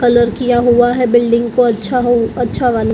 colour किया हुआ है बिल्डिंग को अच्छा हो अच्छा वाला--